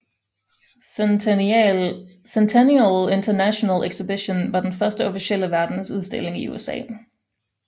Centennial International Exhibition var den første officielle verdensudstilling i USA